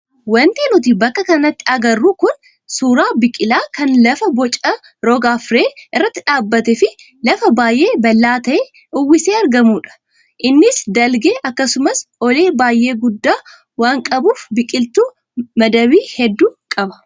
Wanti nuti bakka kanatti agarru kun suuraa biqilaa kan lafa boca rog-arfee irratti dhaabbatee fi lafa baay'ee bal'aa ta'e uwwisee argamudha. Innis dalgee akkasumas olee baay'ee guddaa waan qabuuf biqiltuu madabii hedduu qaba.